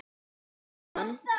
Mér þykir vænt um hann.